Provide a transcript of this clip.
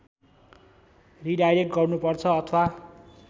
redirect गर्नुपर्छ अथवा